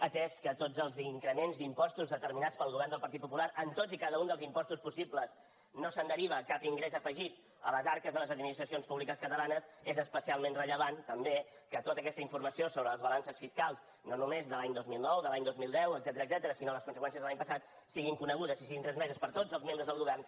atès que de tots els increments d’impostos determinats pel govern del partit popular en tots i cada un dels impostos possibles no se’n deriva cap ingrés afegit a les arques de les administracions públiques catalanes és especialment rellevant també que tota aquesta informació sobre les balances fiscals no només de l’any dos mil nou de l’any dos mil deu etcètera sinó les conseqüències de l’any passat siguin conegudes i siguin transmeses per tots els membres del govern